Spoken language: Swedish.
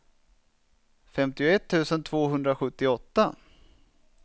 femtioett tusen tvåhundrasjuttioåtta